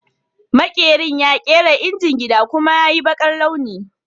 Maƙerin ya kera injin gida, kuma ya yi baƙar launi